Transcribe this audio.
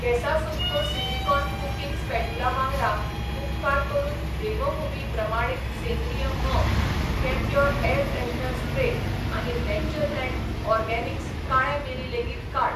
कॅसासुन्को silicone cooking spatula वांगडा, उपकार करून देवभूमी प्रमाणीत सेंद्रीय म्होंव, कैम्प्योर एयर फ्रेशनर स्प्रे आनी नेचरलँड ऑरगॅनिक्स काळे मिरीं लेगीत काड.